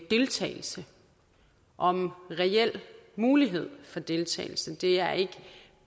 deltagelse og om reel mulighed for deltagelse det er ikke